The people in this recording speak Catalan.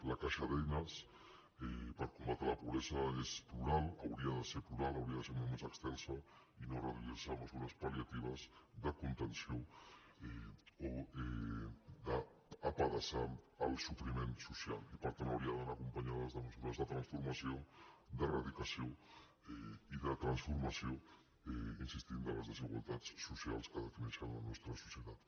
la caixa d’eines per combatre la pobresa és plural hauria de ser plural hauria de ser molt més extensa i no reduir se a mesures pal·de contenció o d’apedaçar el sofriment social i per tant hauria d’anar acompanyada de mesures de transformació d’eradicació i de transformació hi insistim de les desigualtats socials que defineixen la nostra societat